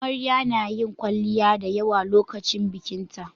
Amarya nayin kwalliya da yawa lokacin bikinta